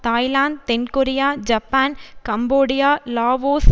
Thailand தென்கொரியா Japan Cambodia Laos